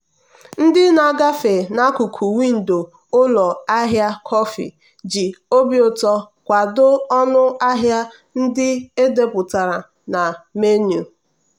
ndị na-agafe n'akụkụ windo ụlọ ahịa kọfị ji obi ụtọ kwado ọnụ ahịa ndị e depụtara na menu.